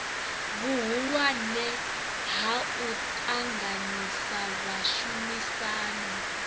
vhuhulwane ha u ṱanganyisa vhashumisani